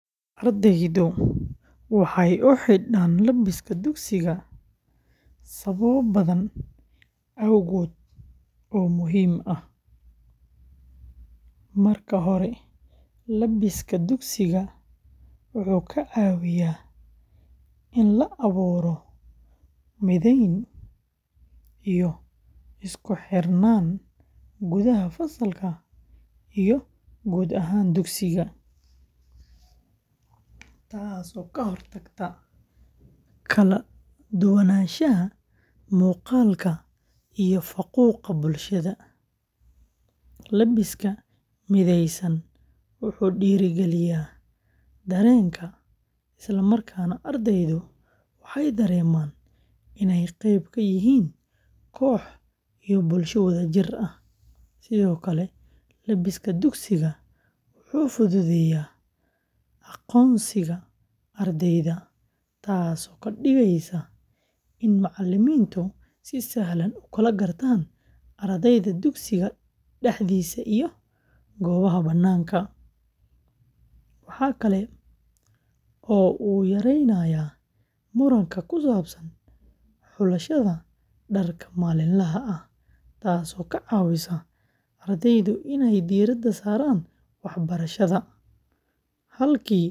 Ardaydu waxay u xidhaan labiska dugsiga sababo badan awgood oo muhiim ah. Marka hore, labiska dugsiga wuxuu ka caawiyaa in la abuuro mideyn iyo isku xirnaan gudaha fasalka iyo guud ahaan dugsiga, taasoo ka hortagta kala duwanaanshaha muuqaalka iyo faquuqa bulshada. Labiska midaysan wuxuu dhiirrigeliyaa dareenka isla markaana ardayda waxay dareemaan inay qayb ka yihiin koox iyo bulsho wadajir ah. Sidoo kale, labiska dugsiga wuxuu fududeeyaa aqoonsiga ardayda, taasoo ka dhigaysa in macalimiintu si sahlan u kala gartaan ardayda dugsiga dhexdiisa iyo goobaha bannaanka. Waxa kale oo uu yaraynayaa muranka ku saabsan xulashada dharka maalinlaha ah, taasoo ka caawisa.